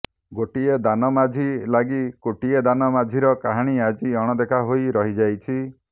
ଗୋଟିଏ ଦାନ ମାଝି ଲାଗି କୋଟିଏ ଦାନ ମାଝିର କାହାଣୀ ଆଜି ଅଣଦେଖା ହୋଇ ରହିଯାଉଛି